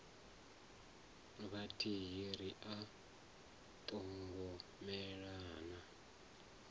vhathihi ri a ṱhogomela na